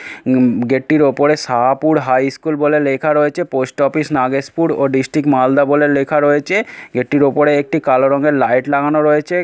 উ-ম গেটটির ওপরে সাহাপুর হাইস্কুল বলে লেখা রয়েছে পোস্ট অফিস নাগেশপুর ও ডিসটিক মালদা বলে লেখা রয়েছে গেটটির ওপরে একটি কালো রঙের লাইট লাগানো রয়েছে।